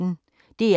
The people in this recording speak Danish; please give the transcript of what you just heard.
DR P1